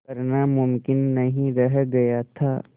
करना मुमकिन नहीं रह गया था